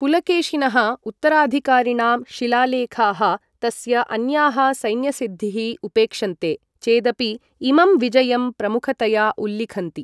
पुलकेशिनः उत्तराधिकारिणां शिलालेखाः, तस्य अन्याः सैन्यसिद्धीः उपेक्षन्ते चेदपि, इमं विजयं प्रमुखतया उल्लिखन्ति।